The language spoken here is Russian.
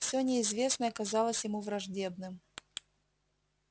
всё неизвестное казалось ему враждебным